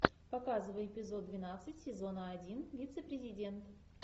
показывай эпизод двенадцать сезона один вице президент